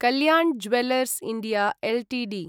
Kalyan jewellers India Ltd